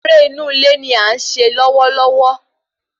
Eré inú ilé ní à ń se lọwọlọwọ